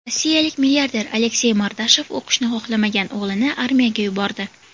Rossiyalik milliarder Aleksey Mordashov o‘qishni xohlamagan o‘g‘lini armiyaga yubordi.